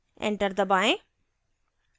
enter दबाएँ